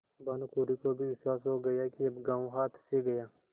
भानुकुँवरि को भी विश्वास हो गया कि अब गॉँव हाथ से गया